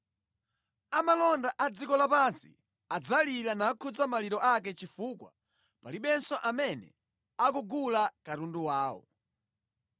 “Amalonda a dziko lapansi adzalira nakhuza maliro ake chifukwa palibenso amene akugula katundu wawo,